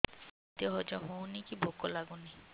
ଖାଦ୍ୟ ହଜମ ହଉନି କି ଭୋକ ଲାଗୁନି